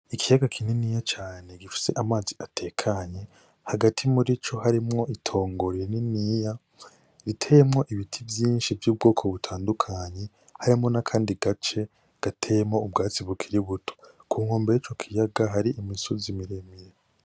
Ikiyaga kininiya cane gifise amazi atekanye hagati murico harimwo itongo ririniya riteyemwo ibiti vyinshi vy'ubwoko butandukanye harimwo n'akandi gace gateyemwo ubwatsi bukiri butoto, kunkombe y'ico kiyaga hari imisozi miremire.